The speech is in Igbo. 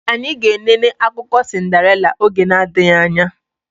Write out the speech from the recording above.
Anyị ga enene akụkọ sindarela oge na adịghị anya